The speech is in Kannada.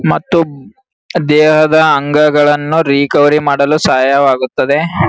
ಮತ್ತು ದೇಹದ ಅಂಗಗಳನ್ನು ರಿಕವರಿ ಮಾಡಲು ಸಹಾಯವಾಗುತ್ತದೆ .